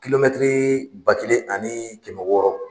Kilomɛtiri ba kelen ani kɛmɛ wɔɔrɔ